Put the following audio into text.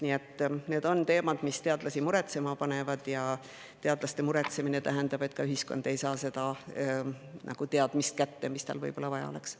Nii et need on teemad, mis teadlasi muretsema panevad, ja teadlaste muretsemine tähendab, et ka ühiskond ei saa kätte seda teadmist, mis tal võib-olla vaja oleks.